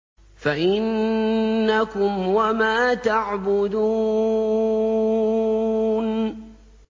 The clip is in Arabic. فَإِنَّكُمْ وَمَا تَعْبُدُونَ